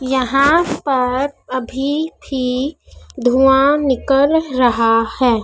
यहां पर अभी भी धुआँ निकल रहा है।